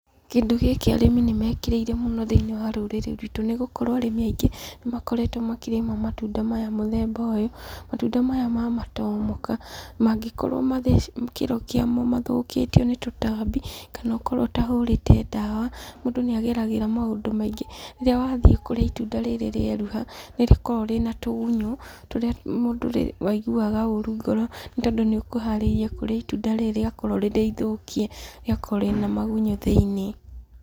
Kĩndũ gĩkĩ arĩmi nĩ mekĩrĩire mũno thĩiniĩ wa rũr ĩrĩ ruitũ. Nĩ gũkorwo arĩmi aingĩ nĩ makoretwo makĩrĩma matunda maya mũthemba ũyũ. Matunda maya ma matomoka, mangĩkorwo mathecitwo, kĩro kĩa mo mathũkĩtio nĩ tũtambi, kana ũkorwo ũtahũrĩte ndawa, mũndũ nĩ ageragĩra maũndũ maingĩ. Rĩrĩa wathiĩ kũrĩa itunda rĩrĩ rĩeruha, nĩ rĩkoragwo rĩna tũgunyũ, tũrĩa mũndũ aiguaga ũũru ngoro, nĩ tondũ nĩ ũkũharĩirie kũrĩa itunda rĩrĩ rĩakorwo rĩrĩ ithũkie, rĩakorwo rĩna magunyũ thĩiniĩ.